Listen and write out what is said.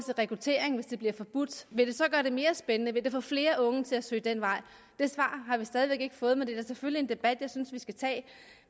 rekrutteringen hvis den bliver forbudt vil det så gøre det mere spændende vil det få flere unge til at søge den vej det svar har vi stadig væk ikke fået men det er da selvfølgelig en debat jeg synes at vi skal tage